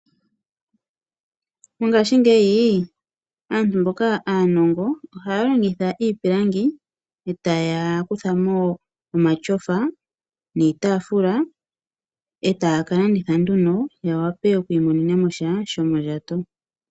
Mongaashingeyi aantu mboka aanongo ohaya longitha iipilangi ta kutha mo omatyofa, iitafula, etaya kalanditha nduno ya wape oku imonena mosha sho mondjato.